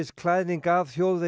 klæðning af þjóðvegi